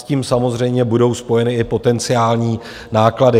S tím samozřejmě budou spojeny i potenciální náklady.